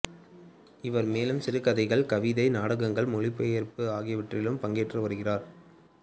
இவர் மேலும் சிறுகதைகள் கவிதை நாடகங்கள் மொழிபெயர்ப்பு ஆகியவற்றிலும் பங்கேற்று வருகிறார்